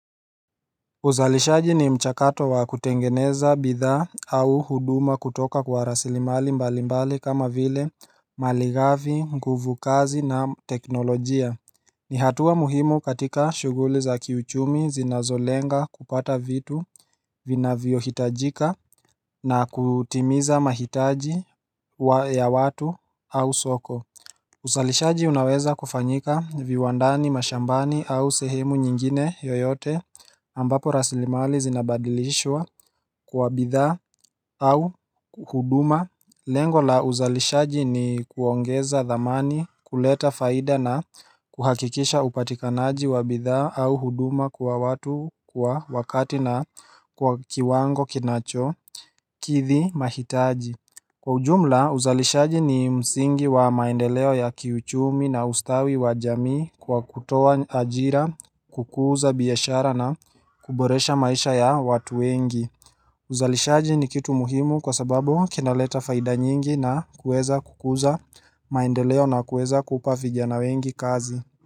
Uzalishaji ni mchakato wa kutengeneza bidhaa au huduma kutoka kwa rasilimali mbalimbali kama vile malighafi nguvu kazi na teknolojia ni hatua muhimu katika shughuli za kiuchumi zinazolenga kupata vitu vinavyohitajika na kutimiza mahitaji ya watu au soko uzalishaji unaweza kufanyika viwandani mashambani au sehemu nyingine yoyote ambapo rasilimali zinabadilishwa kwa bidhaa au huduma Lengo la uzalishaji ni kuongeza thamani kuleta faida na kuhakikisha upatikanaji wa bidhaa au huduma kwa watu kwa wakati na kwa kiwango kinacho Kithi mahitaji Kwa ujumla, uzalishaji ni msingi wa maendeleo ya kiuchumi na ustawi wa jamii kwa kutoa ajira, kukuza biashara na kuboresha maisha ya watu wengi. Uzalishaji ni kitu muhimu kwa sababu kinaleta faida nyingi na kueza kukuza maendeleo na kueza kupa fijana wengi kazi.